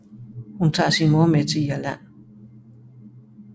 Hun tager sin mor med til Irland